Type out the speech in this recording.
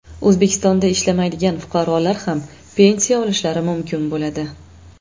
O‘zbekistonda ishlamaydigan fuqarolar ham pensiya olishlari mumkin bo‘ladi.